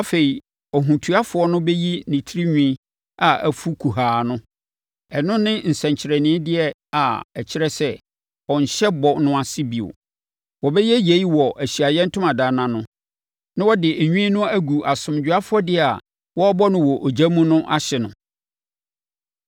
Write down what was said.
“Afei, ɔhotuafo no bɛyi ne tirinwi a afu kuhaa no; ɛno ne nsɛnkyerɛnnedeɛ a ɛkyerɛ sɛ, ɔnhyɛ bɔhyɛ no ase bio. Wɔbɛyɛ yei wɔ Ahyiaeɛ Ntomadan no ano, na wɔde nwi no agu asomdwoeɛ afɔdeɛ a wɔrebɔ no wɔ ogya mu no ahye no.